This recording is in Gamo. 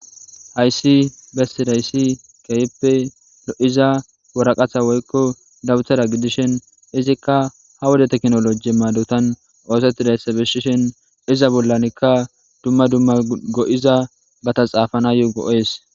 Hayssi bessidays keehippe lo'iza waraqata woykko daputara gidishin izikka ha wode tekinoloje maadotan oosetidayssa bessishin iza bollanikka dumma dumma go'izabata xaafanayo go'es.